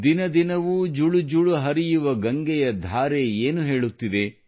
ದಿನ ದಿನವೂ ಝುಳು ಝುಳು ಹರಿಯುವ ಗಂಗೆಯ ಧಾರೆ ಏನು ಹೇಳುತ್ತಿದೆ